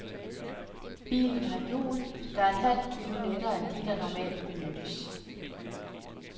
Bilen har hjul, der er et halv kilo lettere end de, der normalt benyttes.